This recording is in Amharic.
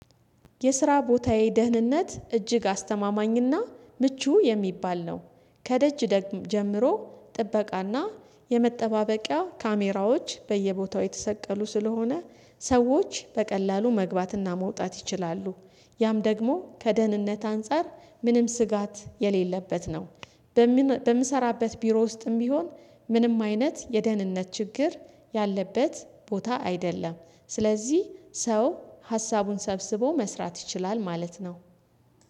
የስራ ቦታዬ ደህንነት እጅግ አስተማማኝና ምቹ የሚባል ነው። ከደጅ ጀምሮ ጥበቃና የመጠባበቂያ ካሜራዎች በየቦታው የተሰቀሉ ስለሆነ ሰዎች በቀላሉ መግባትና መውጣት ይችላሉ። ያም ደግሞ ከደህንነት አንፃር ምንም ስጋት የሌለበት ነው፤። በምሰራበት ቢሮ ውስጥም ቢሆን ምንም አይነት የደህንነት ችግር ያለበት ቦታ አይደለም። ስለዚህ ሰው ሀሳቡን ሰብስቦ መስራት ይችላል ማለት ነው፤።